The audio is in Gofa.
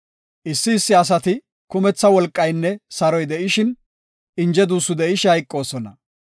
Issi issi asi kumetha wolqaynne saroy de7ishin, inje duussu de7ishe hayqoosona.